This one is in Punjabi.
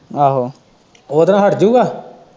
ਆਹੋ ਉਹਦੇ ਨਾਲ਼ ਹੱਟ ਜੂ ਗਾ।